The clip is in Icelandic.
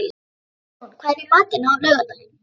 Ísrún, hvað er í matinn á laugardaginn?